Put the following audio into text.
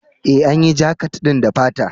E, an yi jakat ɗin da fata.